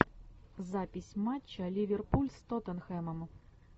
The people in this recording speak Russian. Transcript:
запись матча ливерпуль с тоттенхэмом